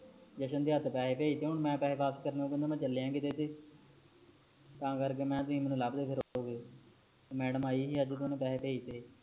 ਜਸ਼ਨ ਦੇ ਹੱਥ ਪੈਸੇ ਭੇਜਤੇ ਹੁਣ ਮੈ ਪੈਸੇ ਵਾਪਸ ਕਰਨੇ ਤੇ ਮੈ ਚਲਿਆ ਕਿਥੇ ਤਾ ਕਰਕੇ ਮੈਂ ਤੁਸੀ ਲੱਬਦੇ ਫਿਰੋਗੇ ਮੈਡਮ ਆਈ ਨੀ ਆਜ ਤੇ ਪੈਸੇ ਭੇਜਤੇ